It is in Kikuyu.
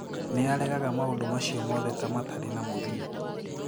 Nĩ aregaga maũndũ macio mothe ta matarĩ na mũthingi.